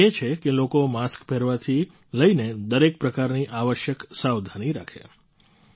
પ્રયાસ એ છે કે લોકો માસ્ક પહેરવાથી લઈને દરેક પ્રકારની આવશ્યક સાવધાની રાખે